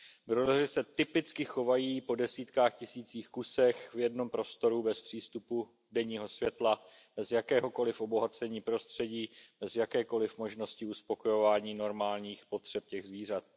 Brojleři se typicky chovají po desítkách tisících kusů v jednom prostoru bez přístupu denního světla, bez jakéhokoliv obohacení prostředí, bez jakékoli možnosti uspokojení normálních potřeb těch zvířat.